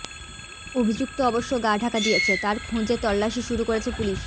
অভিযুক্ত অবশ্য গা ঢাকা দিয়েছে তার খোঁজে তল্লাশি শুরু করেছে পুলিশ